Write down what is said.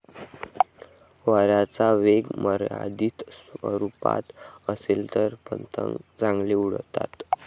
वाऱ्याचा वेग मर्यादित स्वरुपात असेल तर पतंग चांगले उडतात.